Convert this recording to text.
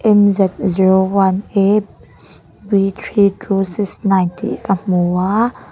m z zero one a b three two six nine tih ka hmu a.